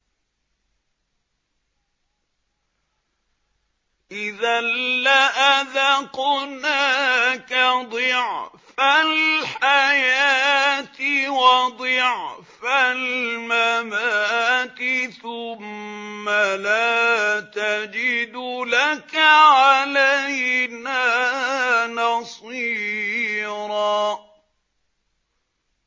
إِذًا لَّأَذَقْنَاكَ ضِعْفَ الْحَيَاةِ وَضِعْفَ الْمَمَاتِ ثُمَّ لَا تَجِدُ لَكَ عَلَيْنَا نَصِيرًا